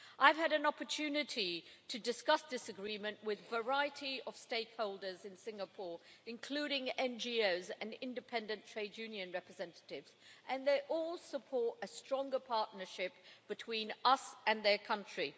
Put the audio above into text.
I've had an opportunity to discuss this Agreement with a variety of stakeholders in Singapore, including NGOs and independent trade union representatives, and they all support a stronger partnership between us and their country.